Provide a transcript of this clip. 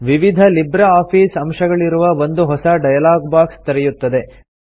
ವಿವಿಧ Libre Office ಅಂಶಗಳಿರುವ ಒಂದು ಹೊಸ ಡೈಲಾಗ್ ಬಾಕ್ಸ್ ತೆರೆಯುತ್ತದೆ